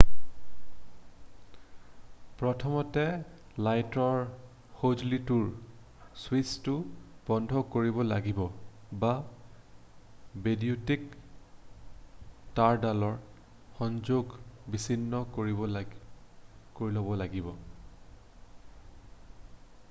প্ৰথমতে লাইটৰ সজুলিটোৰ ছুইছটো বন্ধ কৰিব লাগিব বা বৈদ্যুতিক তাঁৰডালৰ সংযোগ বিছিন্ন কৰি ল'ব লাগিব